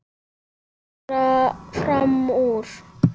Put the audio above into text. Reyna að skara fram úr.